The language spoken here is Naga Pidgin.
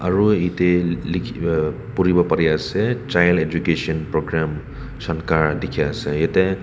aru ete likhi pori bo pare ase child education program shankar dekhi ase jarte.